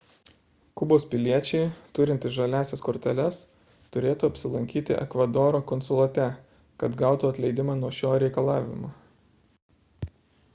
kubos piliečiai turintys žaliąsias korteles turėtų apsilankyti ekvadoro konsulate kad gautų atleidimą nuo šio reikalavimo